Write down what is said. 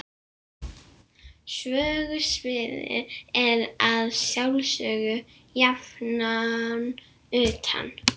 Sögusviðið er að sjálfsögðu jafnan utan